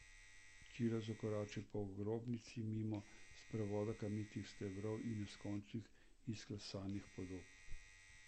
Čilo je zakoračil po grobnici mimo sprevoda kamnitih stebrov in neskončnih izklesanih podob.